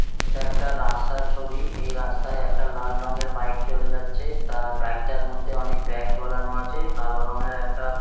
এটা একটা রাস্তার ছবি। এই রাস্তায় একটা লাল রঙের বাইক চলে যাচ্ছে। তার ব্যাগ -টার মধ্যে অনেক ব্যাগ ঝোলানো আছ। কালো রঙের একটা--